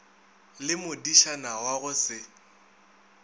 le modišana wa go se